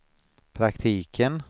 praktiken